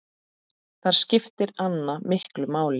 Þar skipti Anna miklu máli.